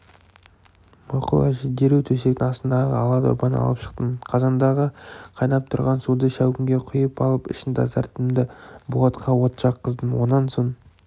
мақұл әже дереу төсектің астындағы ала дорбаны алып шықтым қазандағы қайнап тұрған суды шәугімге құйып алып ішін тазарттым да болатқа от жаққыздым онан соң